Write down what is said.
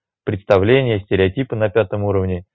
представление стереотипы на пятом уровне